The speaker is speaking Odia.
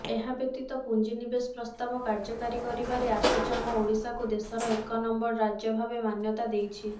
ଏହାବ୍ୟତୀତ ପୁଞ୍ଜିନିବେଶ ପ୍ରସ୍ତାବ କାର୍ଯ୍ୟକାରୀ କରିବାରେ ଆସୋଚାମ ଓଡ଼ିଶାକୁ ଦେଶର ଏକ ନମ୍ବର ରାଜ୍ୟ ଭାବେ ମାନ୍ୟତା ଦେଇଛି